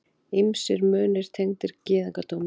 Ýmsir munir tengdir gyðingdómnum.